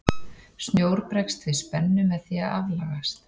snjór bregst við spennu með því að aflagast